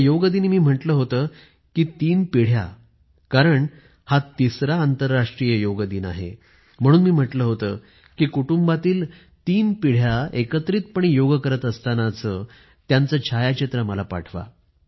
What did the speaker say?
या योग दिनी मी म्हटलं होत कि तीन पिढ्या कारण हा तिसरा आंतरराष्ट्रीय योग दिन आहे म्हणून मी म्हटलं होत कि कुटुंबातील तीन पिढ्या एकत्रितपणे योग करत असतानाचे त्यांचं छायाचित्र मला पाठवा